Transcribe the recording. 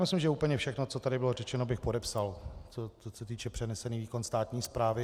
Myslím, že úplně všechno, co tady bylo řečeno, bych podepsal, co se týče - přenesený výkon státní správy.